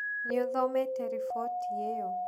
Nĩ ũthomete riboti ĩyo?